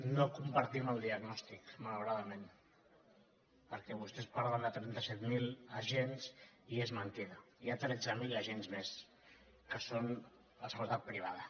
no compartim el diagnòstic malauradament perquè vostès parlen de trenta set mil agents i és mentida hi ha tretze mil agents més que són de seguretat privada